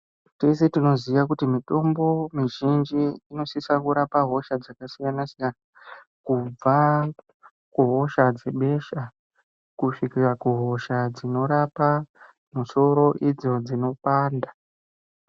Tese tinoziya kuti mitombo mizhinji inosisa kurapa hosha dzakasiyanasiyana kubva kuhosha dzebesha kusvikira kuhosha dzinorapa musoro idzo dzinopanda.